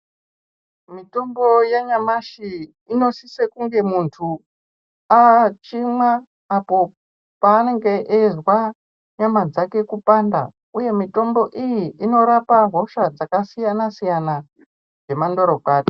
Mitombo yanyamashi inosise kunge muntu achimwa apo paanenge achizwa nyama dzake kupanda uye mitombo iyi inorapa hosha dzakasiyana siyana dzemandoro kwati.